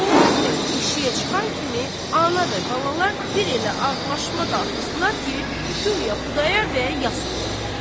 Xudayar bəy eşiyə çıxan kimi ana və balalar bir elə ağlaşma qalxızdılar ki, guya Xudayar bəy yas qoyublar.